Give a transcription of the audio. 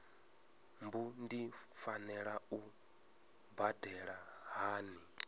mbu ndi fanela u badela hani